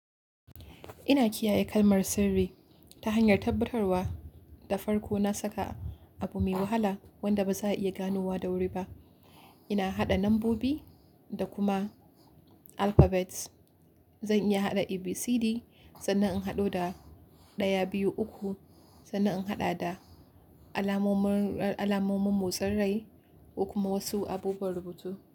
Ina kiyaye kalmar sirri ta hanyar tabbatarwa da farko na saka abu mai wahala wanda ba za a iya gano wa da wuri ba. Ina haɗa lambobi da kuma alphabets. Zan iya haɗa ABCD sannan in haɗo da 123, sannan in haɗa da alamomin, alamomin motsin rai da kuma wasu abubuwan rubutu.